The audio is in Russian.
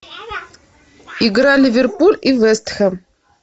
игра ливерпуль и вест хэм